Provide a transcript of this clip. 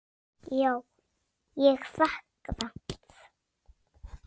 Já, ég fékk það.